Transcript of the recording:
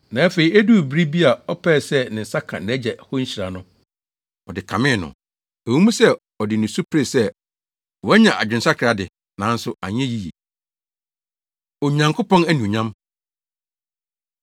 Na afei eduu bere bi a ɔpɛɛ sɛ ne nsa ka nʼagya hɔ nhyira no, ɔde kamee no. Ɛwɔ mu sɛ ɔde nusu peree sɛ wanya adwensakra de, nanso anyɛ yiye. Onyankopɔn Anuonyam